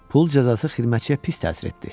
Pul cəzası xidmətçiyə pis təsir etdi.